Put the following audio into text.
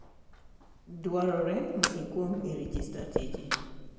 Dwarore ni ikwong I regista tiji.